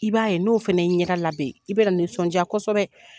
I b'a ye n'o fɛnɛ i ɲɛ da labɛn i bɛ na nisɔndiya kosɛbɛ.